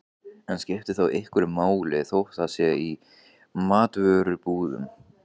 En skiptir þá einhverju máli þótt það sé í matvörubúðum?